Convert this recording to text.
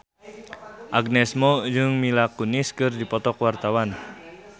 Agnes Mo jeung Mila Kunis keur dipoto ku wartawan